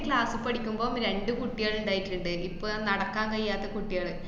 class പഠിക്കുമ്പോ രണ്ടു കുട്ടികള്ണ്ടായിട്ട്ണ്ട്, ഇപ്പൊ നടക്കാനയ്യാത്ത കുട്ടികള്.